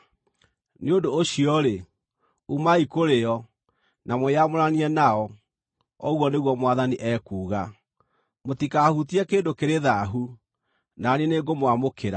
“Nĩ ũndũ ũcio-rĩ, umai kũrĩ o na mwĩyamũranie nao, ũguo nĩguo Mwathani ekuuga. Mũtikahutie kĩndũ kĩrĩ thaahu, na niĩ nĩngũmwamũkĩra.”